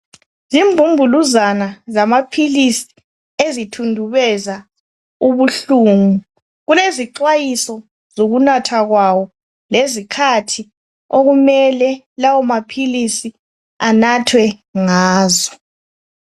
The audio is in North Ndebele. Zimbumbuluzana zamapills ezithundubeza ubuhlungu kulezixhwayiso zokunatha kwawo lezikhathi okumele lawamapills anathwe ngazo